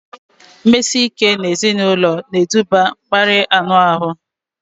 Mmesike ụlọ na eduba na mkparịa anụ ahụ